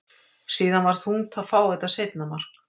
Síðan var þungt að fá þetta seinna mark.